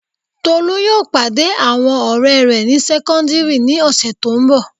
Tolú yóò pàdé àwọn ọ̀rẹ́ rẹ̀ ní sẹ́kọ́ndíìrì ní ọ̀sẹ̀ tó n bọ̀